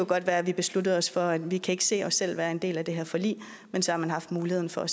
godt være at vi besluttede os for at vi ikke kan se os selv være en del af det her forlig men så har man haft muligheden for at